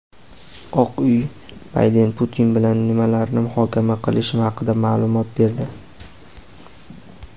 Oq uy Bayden Putin bilan nimalarni muhokama qilishi haqida maʼlumot berdi.